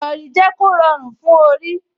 Ìrọrí jẹ́ kó rọrùn fún orí